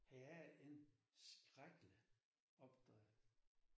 Det er en skrækkelig opdrev